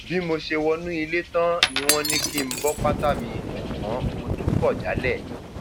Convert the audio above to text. bí mo ṣe wọnú ilé tán ni wọn bá ní kí n bọ pátá mi ṣùgbọn mo tún kọ jálẹ